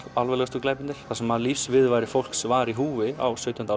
alvarlegustu glæpirnir þar sem lífsviðurværi fólks var í húfi á sautjándu